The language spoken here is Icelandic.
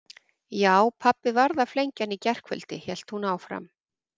Já, pabbi varð að flengja hann í gærkvöldi hélt hún áfram.